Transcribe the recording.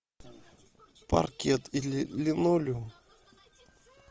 паркет или линолеум